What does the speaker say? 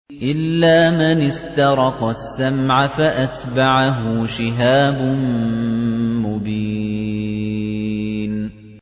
إِلَّا مَنِ اسْتَرَقَ السَّمْعَ فَأَتْبَعَهُ شِهَابٌ مُّبِينٌ